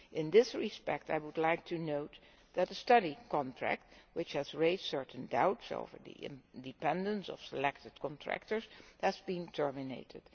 In this respect I would like to note that a study contract which raised certain doubts over the independence of selected contractors has been terminated.